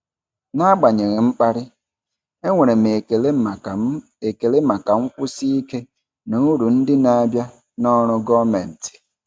N'agbanyeghị mkparị, enwere m ekele maka m ekele maka nkwụsi ike na uru ndị na-abịa na ọrụ gọọmentị.